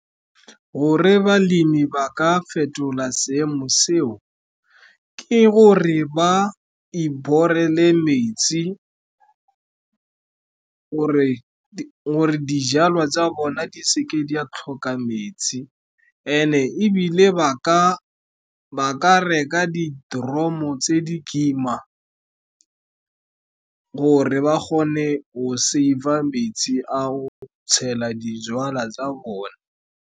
Gore balemi ba ka fetola seemo seo, ke gore ba iborele metsi, gore dijalo tsa bona di se ke di a tlhoka metsi. And-e ebile ba ka reka di-dromo tse di kima gore ba kgone go save-a metsi a go tshela dijalo tsa bona.